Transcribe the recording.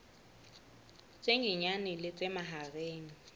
tse nyenyane le tse mahareng